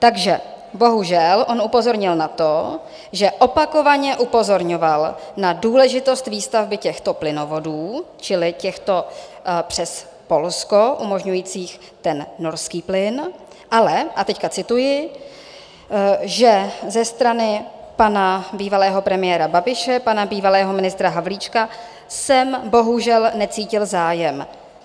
Takže bohužel on upozornil na to, že opakovaně upozorňoval na důležitost výstavby těchto plynovodů, čili těchto přes Polsko umožňujících ten norský plyn, ale - a teď cituji - že ze strany pana bývalého premiéra Babiše, pana bývalého ministra Havlíčka jsem bohužel necítil zájem.